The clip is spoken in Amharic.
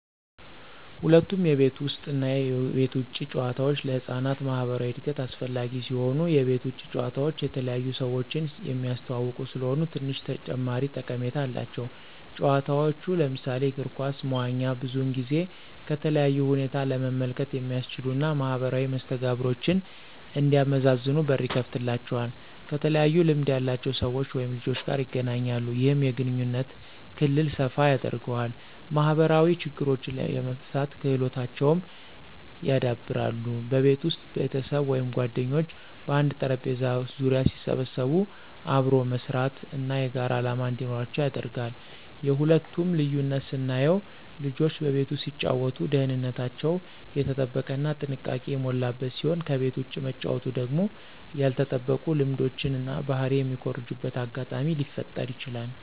ሁለቱም የቤት ውስጥ እና የቤት ውጭ ጨዋታዎች ለህፃናት ማኅበራዊ እድገት አስፈላጊ ሲሆኑ፣ የቤት ውጭ ጨዋታ የተለያዩ ሰዎችን የሚያስተዋውቁ ስለሆኑ ትንሽ ተጨማሪ ጠቀሜታ አላቸው። ጨዋታዎች ለምሳሌ እግር ኳስ፣ መዋኛ ብዙውን ጊዜ ከተለያዩ ሁኔታ ለመመልከት የሚያስችሉ እና ማኅበራዊ መስተጋብሮችን እንዲያመዛዝኑ በር ይከፍትላቸዋል። ከተለያዩ ልምድ ያላቸው ሰዎች/ልጆች ጋር ይገናኛሉ። ይህም የግንኙነት ክልል ሰፋ ያደርገዋል። ማኅበራዊ ችግሮችን የመፍታት ክህሎታቸውን ያዳብራል። በቤት ውስጥ ቤተሰብ ወይም ጓደኞች በአንድ ጠረጴዛ ዙሪያ ሲሰበሰቡ አብሮ መስራት እና የጋራ ዓላማ እንዲኖራቸው ያደርጋል። የሁለቱ ልዩነት ስናየው ልጆች በቤት ውስጥ ሲጫወቱ ደህንነታቸው የተጠበቀ እና ጥንቃቄ የሞላበት ሲሆን ከቤት ውጭ መጫወቱ ደግሞ ያልተጠበቁ ልምዶችን እና ባህሪ የሚኮርጁበት አጋጣሚ ሊፈጠረ ይችላል።